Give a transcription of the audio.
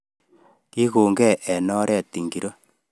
Kikonkei eng oret ngiro